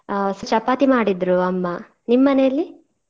ಆ ಚಪಾತಿ ಮಾಡಿದ್ರು ಅಮ್ಮ ನಿಮ್ಮ್ ಮನೇಲಿ?